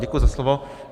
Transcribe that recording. Děkuji za slovo.